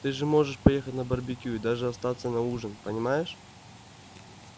ты же можешь поехать на барбекю и даже остаться на ужин понимаешь